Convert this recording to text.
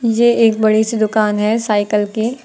ये एक बड़ी सी दुकान है साइकल की।